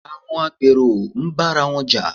Àwọn agbèrò ń bára wọn Jà